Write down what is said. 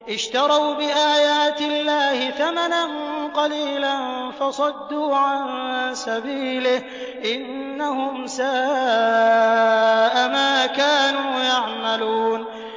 اشْتَرَوْا بِآيَاتِ اللَّهِ ثَمَنًا قَلِيلًا فَصَدُّوا عَن سَبِيلِهِ ۚ إِنَّهُمْ سَاءَ مَا كَانُوا يَعْمَلُونَ